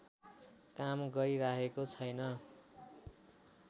काम गरिराखेको छैन